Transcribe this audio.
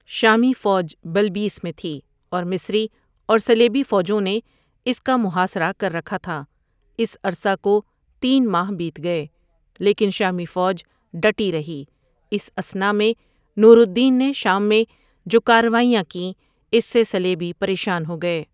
شامی فوج بلبیس میں تھی اور مصری اور صلیبی فوجوں نے اس کا محاصرہ کر رکھا تھا اس عرصہ کو تین ماہ بیت گئے، لیکن شامی فوج ڈٹی رہی اس اثنا میں نور الدین نے شام میں جو کارروائیں کیں اس سے صلیبی پریشان ہو گئے ۔